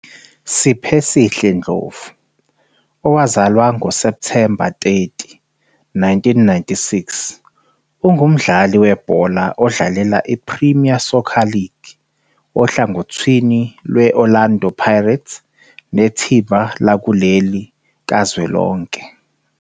Siphesihle Ndlovu, owazalwa ngo-September 30 1996, ungumdlali Webhola odlalalela iPremier Soccer League ohlangothini lwe-Orlando Pirates nethimba lakuleli kazwelonke.